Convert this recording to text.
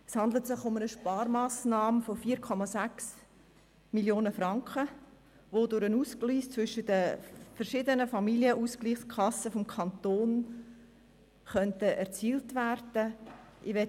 Es handelt sich um eine Sparmassnahme von 4,6 Mio. Franken, welche durch den Ausgleich zwischen den verschiedenen Familienausgleichskassen des Kantons erzielt werden könnte.